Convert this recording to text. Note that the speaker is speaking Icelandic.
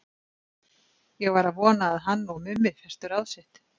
Ég var að vona að hann og Mummi festu ráð sitt.